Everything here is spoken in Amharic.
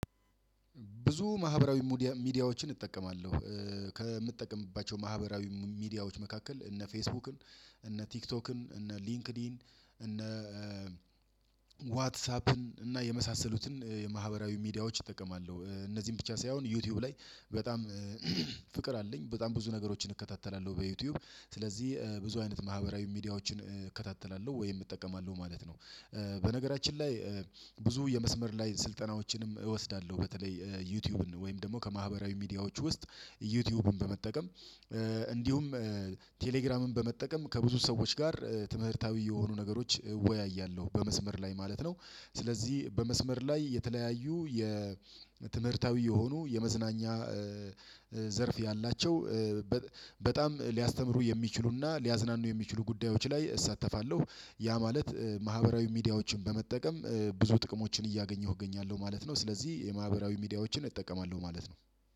ብዙ ማህበራዊ ሚዲያዎችን እጠቀማለሁ ከምጠቀምባቸው ማህበራዊ ሚዲያዎች መካከል እነ ፌስቡክን እነ ቲክቶክን እነ ሊንክድኢን እነ ዋትሳፕን እና የመሳሰሉትን የማህበራዊ ሚዲያዎች እጠቀማለሁ እነዚህን ብቻ ሳይሆን ዩቲዩብ ላይ በጣም ፍቅር አለኝ በጣም ብዙ ነገሮችን እከታተላለሁ በዩቲዩብ ስለዚህ ብዙ አይነት ማህበራዊ ሚዲያዎችን እከታተላለሁ ወይም እጠቀማለሁ ማለት ነው። በነገራችን ላይ ብዙ የመስመር ላይ ስልጠናዎችንም እወስዳለሁ። በተለይ ዩቲዩብን ወይም ደግሞ ከማህበራዊ ሚዲያዎች ውስጥ ዩቲዩብን በመጠቀም እንዲሁም ቴሌግራምን በመጠቀም ከብዙ ሰዎች ጋር ትምህርታዊ የሆኑ ነገሮች እወያያለሁ በመስመር ላይ ማለት ነው። ስለዚህ በመስመር ላይ የተለያዩ የትምህርታዊ የሆኑ የመዝናኛ ዘርፍ ያላቸው በጣም ሊያስተምሩ የሚችሉ እና ሊያዝናኑ የሚችሉ ጉዳዮች ላይ እሳተፋለሁ። ያ ማለት ማህበራዊ ሚዲያዎችን በመጠቀም ብዙ ጥቅሞችን እያገኘሁ እገኛለሁ ማለት ነው። ስለዚህ የማህበራዊ ሚዲያዎችን እጠቀማለሁ ማለት ነው።